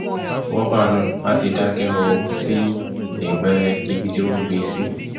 roomba náà a ti dákẹ rọrọ sí ẹbá ibi tí wọn gbé e sí